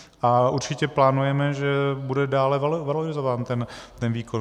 A určitě plánujeme, že bude dále valorizován ten výkon.